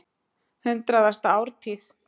Hundraðasta ártíð.